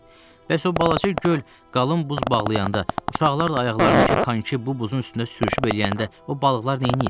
Bəs o balaca göl qalın buz bağlayanda, uşaqlar da ayaqlarındakı konki bu buzun üstündə sürüşüb eləyəndə, o balıqlar nəyləyir?